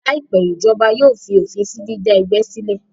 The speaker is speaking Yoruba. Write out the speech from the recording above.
Láìpẹ́, ìjọba yóò fi òfin sí dídá ẹgbẹ́ sílẹ̀